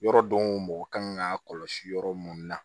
Yɔrɔ don o mɔgɔ kan ka kɔlɔsi yɔrɔ mun na